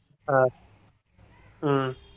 அஹ் உம்